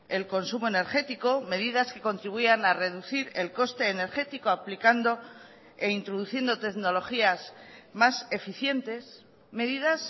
el consumo energético medidas que contribuyan a reducir el coste energético aplicando e introduciendo tecnologías más eficientes medidas